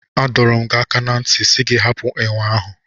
A dọrọ m gi aka na nti si gị hapụ enwe ahụ.